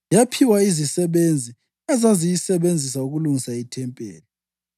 yaphiwa izisebenzi ezayisebenzisa ukulungisa ithempeli.